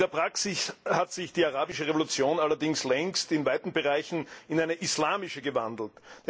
In der Praxis hat sich die Arabische Revolution allerdings längst in weiten Bereichen in eine islamische gewandelt.